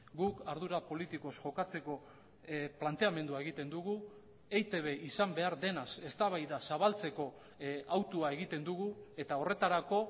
guk ardura politikoz jokatzeko planteamendua egiten dugu eitb izan behar denaz eztabaida zabaltzeko hautua egiten dugu eta horretarako